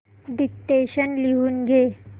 dictation लिहून घे